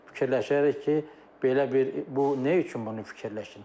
Fikirləşərik ki, belə bir bu nə üçün bunu fikirləşsin?